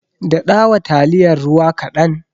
Daɗawa taliyar ruwa kaɗan.